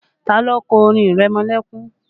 Ta ló kọ orin ìrẹmọlẹ́kún?